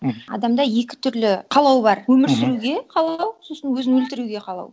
адамда екі түрлі қалау бар өмір сүруге қалау сосын өзін өлтіруге қалау